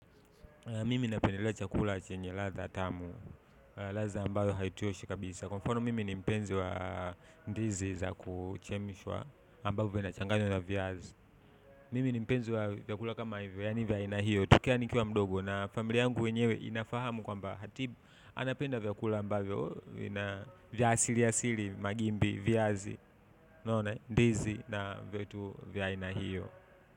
Mimi napendelea chakula chenye ladha tamu, ladha ambayo haichoshi kabisa. Kwa mfano, mimi ni mpenzi wa ndizi za kuchemshwa ambayo vinachanganywa na viazi. Mimi ni mpenzi wa vyakula kama hivyo, yaani vya aina hiyo tu tokea nikiwa mdogo. Na familia yangu yenyewe inafahamu kwamba hatibu, anapenda vyakula ambavyo vya asili asili magimbi, viazi, ndizi na vitu vya aina hiyo.